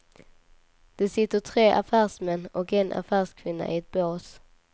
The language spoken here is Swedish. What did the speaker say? Det sitter tre affärsmän och en affärskvinna i ett bås.